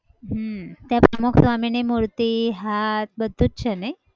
હમ ત્યાં પ્રમુખસ્વામીની મૂર્તિ, હાથ બધું જ છે નહિ?